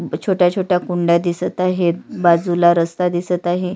अम छोट्या छोट्या कुंड्या दिसत आहेत बाजूला रस्ता दिसत आहे.